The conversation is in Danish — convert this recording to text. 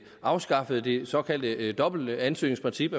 afskaffede det såkaldte dobbelte ansøgningsprincip